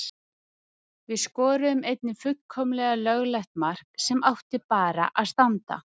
Við skoruðum einnig fullkomlega löglegt mark sem átti bara að standa.